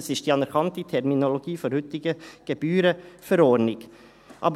Das ist die anerkannte Terminologie der heutigen Verordnung über die Notariatsgebühren (GebVN).